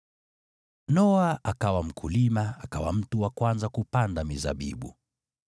Noa akawa mkulima, akawa mtu wa kwanza kupanda mizabibu.